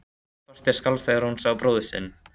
Rödd Berthu skalf þegar hún sá bróður sinn.